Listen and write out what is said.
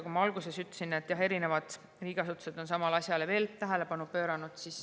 Nagu ma alguses ütlesin, on erinevad riigiasutused samale asjale tähelepanu pööranud.